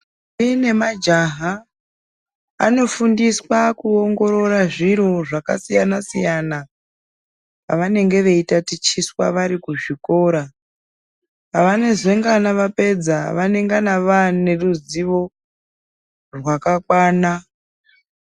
Ndombi nemajaha anofundiswa kuongorora zviro zvakasiyana siyana pavanenge veiita tichiswa vari kuzvikora pavanezengana vazopedza vanengana vaneruzivo rwakakwana